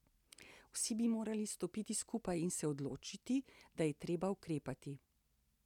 Vsi bi morali stopiti skupaj in se odločiti, da je treba ukrepati.